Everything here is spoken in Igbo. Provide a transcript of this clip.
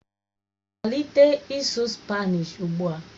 Malite ịsụ Spanishi ugbu a!